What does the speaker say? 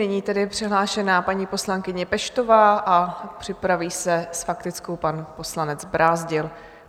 Nyní tedy je přihlášena paní poslankyně Peštová a připraví se s faktickou pan poslanec Brázdil.